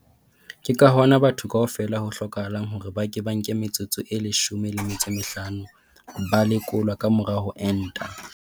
Ke ka hona batho kaofela ho hlokahalang hore ba ke ba nke metsotso e leshome le metso e mehlano ba lekolwa ka mora ho enta.